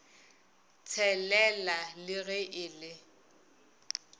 tshelela le ge e le